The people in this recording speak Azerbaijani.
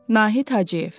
Nahid Hacıyev.